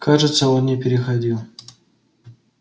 кажется он не переходил